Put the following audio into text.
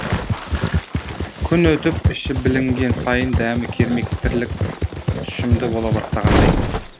күн өтіп іші білінген сайын дәмі кермек тірлік тұщымды бола бастағандай